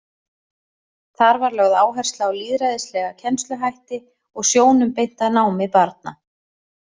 Þar var lögð áhersla á lýðræðislega kennsluhætti og sjónum beint að námi barna.